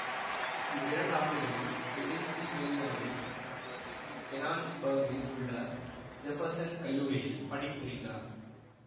இவ்விரண்டாண்டுகளில் பெனின்சில்வேனியாவில் கெனான்சுபர்கில் உள்ள ஜெஃபெர்சன் கல்லூரியில் பணிபுரிந்தார்